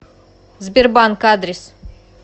сбербанк адрес